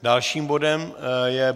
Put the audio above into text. Dalším bodem je